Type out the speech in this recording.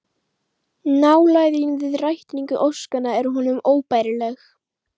Nálægðin við rætingu óskanna er honum óbærileg